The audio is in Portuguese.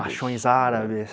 Machões árabes.